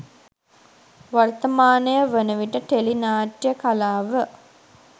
වර්තමානය වන විට ටෙලි නාට්‍යය කලාව